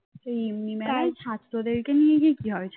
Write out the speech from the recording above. এমনি মেলায় ছাত্রদেরকে নিয়ে গিয়ে কি হবে?